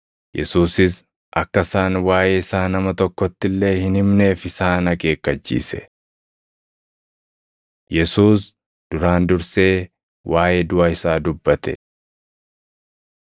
Yesuusis akka isaan waaʼee isaa nama tokkotti illee hin himneef isaan akeekkachiise. Yesuus Duraan Dursee Waaʼee Duʼa Isaa Dubbate 8:31–9:1 kwf – Mat 16:21‑28; Luq 9:22‑27